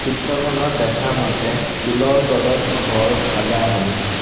চিত্ৰখনত দেখা মতে শিলৰ তলত ঘৰ খাজা হৈছে।